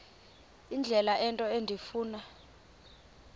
indlela into endifuna